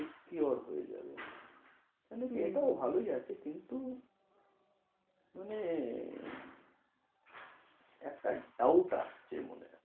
Secure হয়ে যাবে এটাও ভালোই আছে, কিন্তু মানে একটা doubt আসছে মনে,